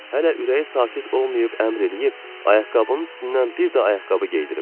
Hələ ürəyi sakit olmayıb əmr eləyib, ayaqqabının üstündən bir də ayaqqabı geyindiriblər.